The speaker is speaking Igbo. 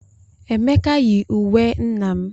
Emeka yi uwe nna m.